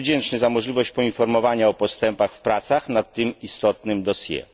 Państwu wdzięczny za możliwość poinformowania o postępach w pracach nad tym istotnym dossier.